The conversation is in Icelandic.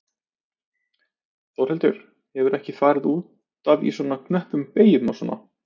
Þórhildur: Hefurðu ekkert farið út af í svona knöppum beygjum og svona?